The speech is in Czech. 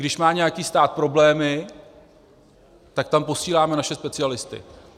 Když má nějaký stát problémy, tak tam posíláme naše specialisty.